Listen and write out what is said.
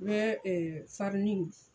I bɛ farini